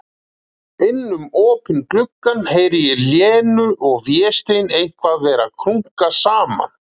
Inn um opinn gluggann heyri ég Lenu og Véstein eitthvað vera að krunka saman.